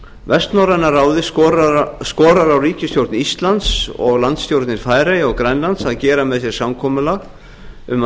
vestnorræna ráðið skorar á ríkisstjórn íslands og landsstjórnir færeyja og grænlands að gera með sér samkomulag um að